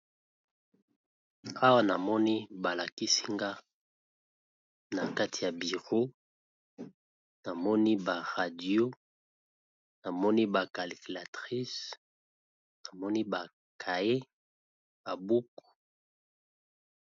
Awa namoni balakisi nga nakati ya bureau namoni ba radio, calculatrice ba cahier, ba buku.